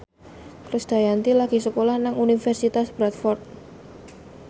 Krisdayanti lagi sekolah nang Universitas Bradford